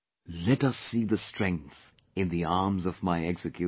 Let us see the strength in the arms of my executioner